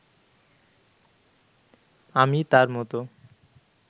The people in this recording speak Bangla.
আমি তাঁর মতো